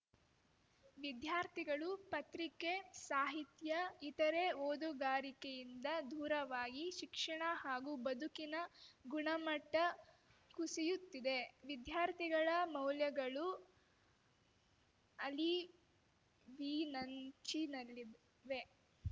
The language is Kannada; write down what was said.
ವಿದ್ಯಾರ್ಥಿಗಳು ಪತ್ರಿಕೆ ಸಾಹಿತ್ಯ ಇತರೆ ಓದುಗಾರಿಕೆಯಿಂದ ದೂರವಾಗಿ ಶಿಕ್ಷಣ ಹಾಗೂ ಬದುಕಿನ ಗುಣಮಟ್ಟಕುಸಿಯುತ್ತಿದೆ ವಿದ್ಯಾರ್ಥಿಗಳ ಮೌಲ್ಯಗಳು ಅಳಿವಿನಂಚಿನಲ್ಲಿದ್ ವೆ